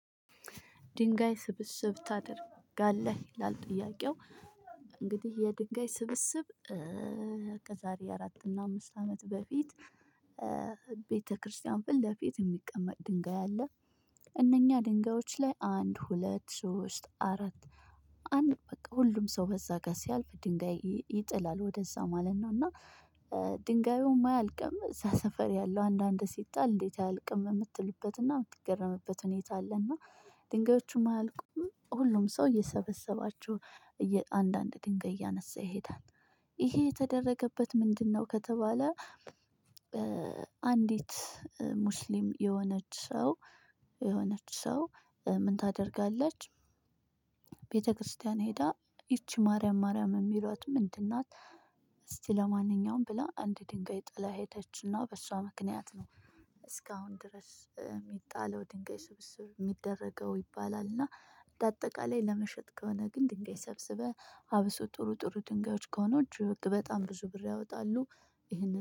ድንጋይ ስብስብ ታድርግ አለህ ይላል? ጥያቄው እንግዲህ የድንጋይ ስብስብ እ እ ከዛሬ አራት እና አምስት አመት በፊት ቤተክርስቲያን ፊት ለፊት የሚቀመጥ ድንጋይ አለ። እነኛ ድንጋዮች ላይ አንድ፣ ሁለት፣ ሶስት፣ አራት፣ አንድ በቃ ሁሉም ሰው በዛ ጋር ሲያልፍ ድንጋይ ይጥላል ወደዛ ማለት ነው እና ኧ ድንጋዩም አያልቅም እዛ ሰፈር ያለው አንዳንድ ሲጣል እንዴት አያልቅም የምትሉበትና የምትገረምበት ሁኔታ አለና፤ ድንጋዮቹም አያልቆም ሁሉም ሰው እየሰበሰባችሁ እ የአንዳንድ ድንጋይ እያነሳ ይሄዳል። ይሄ የተደረገበት ምንድነው? ከተባለ አንዲት ሙስሊም የሆነች ሰው የሆነች ሰው ምን ታደርጋለች? ቤተክርስቲያን ሄዳ ይቺ ማርያም ማርያም የሚሏት ምንድን ናት? እስቲ ለማንኛውም ብላ አንድ ድንጋይ ጥላ ሄደችና በሷ ምክንያት ነው እስካሁን ድረስ የሚጣለው ድንጋይ ስብስብ የሚደረገው ይባላልና እና በአጠቃላይ ለመሸጥ ከሆነ ግን ድንጋይ ሰብስበህ አብሶ ጥሩ ጥሩ ድንጋዮች ከሆኑ እጅ በጣም ብዙ ብር ያወጣሉ። ይሄንን